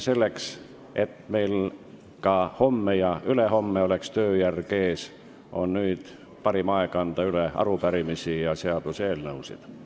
Selleks et meil ka homme ja ülehomme oleks tööjärg ees, on nüüd parim aeg anda üle arupärimisi ja seaduseelnõusid.